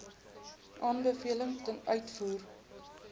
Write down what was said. aanbevelings ten uitvoer